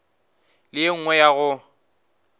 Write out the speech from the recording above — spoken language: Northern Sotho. le ye nngwe ya go